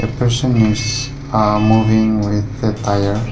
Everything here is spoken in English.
a person is uh moving with a tyre.